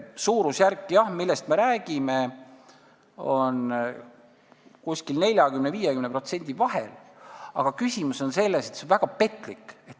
Suurusjärk, millest me räägime, on jah 40–50% vahel, aga küsimus on selles, et see on väga petlik.